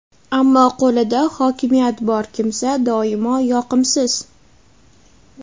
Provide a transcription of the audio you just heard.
ammo qo‘lida hokimiyat bor kimsa doimo yoqimsiz.